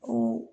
O